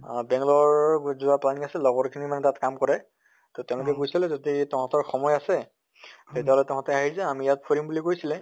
আহ বেংলৰ যোৱা planning আছিল লগৰ খিনি মানে তাত কাম কৰে, তʼ তেওঁলোকে কৈছিলে যদি তহঁতৰ সময় আছে তেতিয়াহলে তহঁতে আহি যা আমি ইয়াত ফুৰিম বুলি কৈছিলে